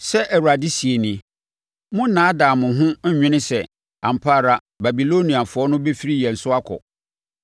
“Sɛ Awurade seɛ nie: Monnnaadaa mo ho nnwene sɛ, ‘Ampa ara Babiloniafoɔ no bɛfiri yɛn so akɔ.’ Wɔrenkɔ!